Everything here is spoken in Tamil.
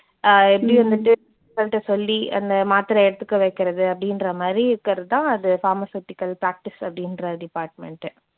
அஹ் எப்படி வந்துட்டு சொல்லி அந்த மாத்திரை எடுத்துக்க வைக்கறது அப்படின்றமாதிரி இருக்கறதுதான் அது pharmaceutical practice அப்படின்ற department உ.